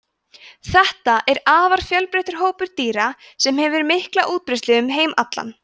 þetta er afar fjölbreyttur hópur dýra sem hefur mikla útbreiðslu um heim allan